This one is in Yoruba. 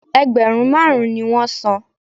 Ẹgbẹ̀rún máàrún ni wọn san